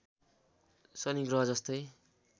शनि ग्रहजस्तै